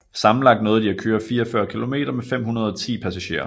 Sammenlagt nåede de at køre 44 km med 510 passagerer